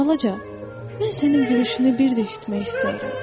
Balaca, mən sənin gülüşünü bir də eşitmək istəyirəm.”